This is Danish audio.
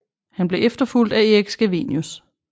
Han blev efterfulgt af Erik Scavenius